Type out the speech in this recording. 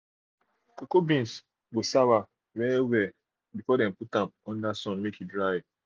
cocoa beans go sour well well before dem put am under sun make e dry dry